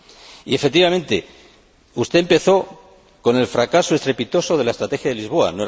Y, efectivamente, usted empezó con el fracaso estrepitoso de la Estrategia de Lisboa.